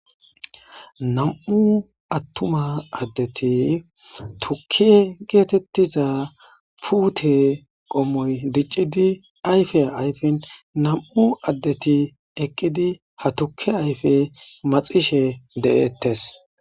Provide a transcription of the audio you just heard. Nam'u attuma addeti tukke geetettiza puute qommoy diccidi ayfe ayfin nam'u addeti eqqidi ha tukke ayfe maxishe de'ettes;